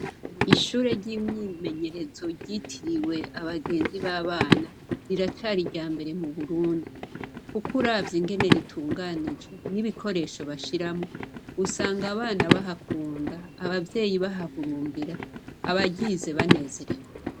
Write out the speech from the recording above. Ishure ry'imyimenyerezo ryitiriwe Abagenzi b'abana riracari iryambere mu Burundi kuko uravye ingene ritunganijwe n'ibikoresho bashiramwo usanga abana bahakunda, abavyeyi bahahurumbira, abaryize banezerewe.